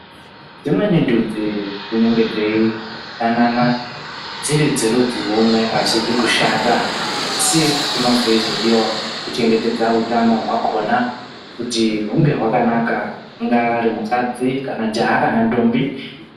Dzimweni ndudzi dzinenge dzei danana dziri dzerudzi rwumwe, azvizi kushata asi kunenge kweizodiwa kuchengetedza utano hwakhona kuti hunge hwakanaka ungaari mukadzi kana jaha kana ndombi.